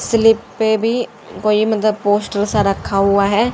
Sleep पे भी कोई मतलब पोस्टर सा रखा हुआ है।